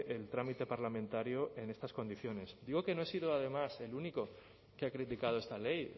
el trámite parlamentario en estas condiciones digo que no he sido además el único que ha criticado esta ley